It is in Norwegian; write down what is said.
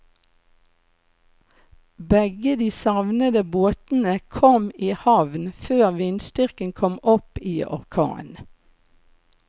Begge de savnede båtene kom i havn før vindstyrken kom opp i orkan.